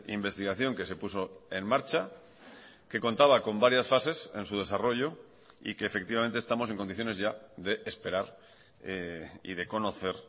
investigación que se puso en marcha que contaba con varias fases en su desarrollo y que efectivamente estamos en condiciones ya de esperar y de conocer